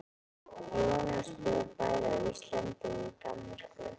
Jónas bjó bæði á Íslandi og í Danmörku.